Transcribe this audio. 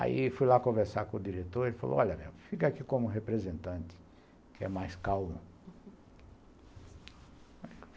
Aí fui lá conversar com o diretor, ele falou, olha, fica aqui como representante, que é mais calmo